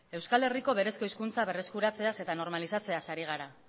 euskal herriko berezko hizkuntza berreskuratzeaz eta normalizatzeaz ari gara